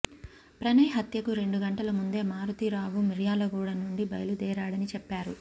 ప్రణయ్ హత్యకు రెండు గంటల ముందే మారుతీరావు మిర్యాలగూడ నుండి బయలుదేరాడని చెప్పారు